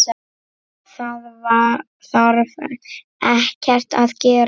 Það þarf ekkert að gerast.